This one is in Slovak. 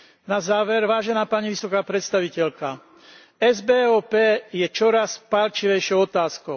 Na záver, vážená pani vysoká predstaviteľka, SBOP je čoraz pálčivejšou otázkou.